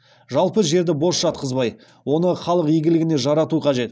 жалпы жерді бос жатқызбай оны халық игілігіне жарату қажет